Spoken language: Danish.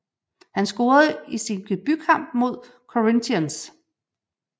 Han scorede i sin debut kamp imod Corinthians